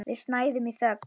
Við snæðum í þögn.